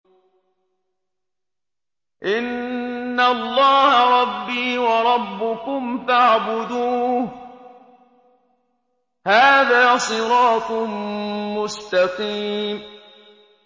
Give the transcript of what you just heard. إِنَّ اللَّهَ رَبِّي وَرَبُّكُمْ فَاعْبُدُوهُ ۗ هَٰذَا صِرَاطٌ مُّسْتَقِيمٌ